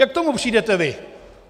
Jak k tomu přijdete vy?